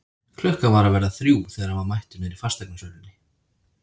Klukkan var að verða þrjú þegar hann var mættur niðri í fasteignasölunni.